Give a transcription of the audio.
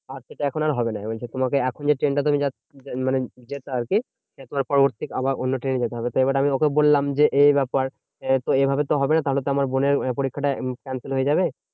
আর সেটা এখন আর হবে না। বলছে তোমাকে এখন যে ট্রেনটা মানে যেত আরকি সেটার পরবর্তী আবার অন্য ট্রেনে যেতে হবে। তো এবার আমি ওকে বললাম যে, এই এই ব্যাপার। তো এভাবে তো হবে না তাহলে তো আমার বোনের পরীক্ষাটা cancel হয়ে যাবে,